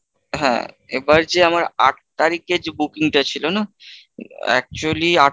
হ্যাঁ এবার যে আমার আট তারিখে যে booking টা ছিল না? actually